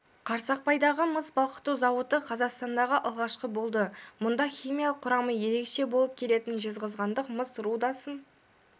қарсақпайдағы мыс балқыту зауыты қазақстандағы алғашқысы болды мұнда химиялық құрамы ерекше болып келетін жезқазғандық мыс рудасын